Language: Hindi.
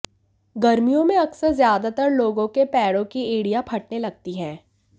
गर्मियों में अक्सर ज्यादातर लोगों के पैरी की एड़ियां फटने लगती हैं